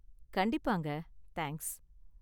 கண்டிப்பாங்க, தேங்க்ஸ்.